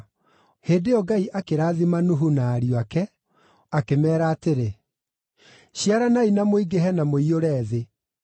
Hĩndĩ ĩyo Ngai akĩrathima Nuhu na ariũ ake, akĩmeera atĩrĩ, “Ciaranai na mũingĩhe na mũiyũre thĩ.